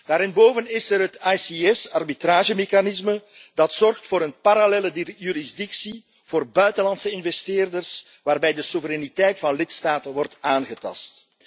Daarenboven is er het ICS arbitragemechanisme, dat zorgt voor een parallelle jurisdictie voor buitenlandse investeerders, waarbij de soevereiniteit van lidstaten wordt aangetast.